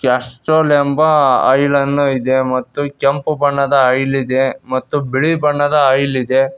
Castrol ಎಂಬ oil ಅನ್ನು ಇದೆ ಮತ್ತು ಕೆಂಪು ಬಣ್ಣದ ಆಯಿಲ್ ಇದೆ ಮತ್ತು ಬಿಳಿ ಬಣ್ಣದ ಆಯಿಲ್ ಇದೆ.